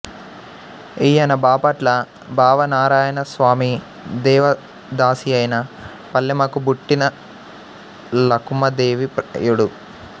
ఈ యన బాపట్ల భావనారాయణస్వామి దేవ దాసియైన పల్లెమకు బుట్టిన లకుమా దేవి ప్రయుడు